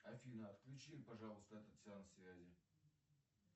афина отключи пожалуйста этот сеанс связи